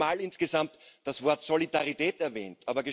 Er hat sechsmal insgesamt das Wort Solidarität erwähnt.